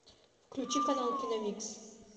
включи канал киномикс